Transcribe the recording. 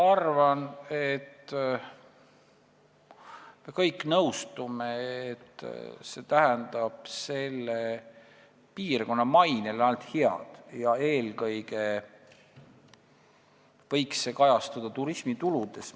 Ma arvan, et me kõik nõustume, et see tähendab selle piirkonna mainele ainult head, mis võiks eelkõige kajastuda turismituludes.